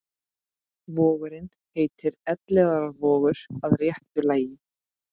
Vogurinn heitir Elliðaárvogur að réttu lagi.